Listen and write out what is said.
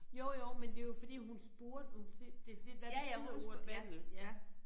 Jo jo men det jo fordi hun spurgte hun decideret hvad betyder ordet vandel ja